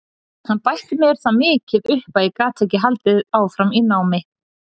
Hann bætti mér það mikið upp að ég gat ekki haldið áfram námi.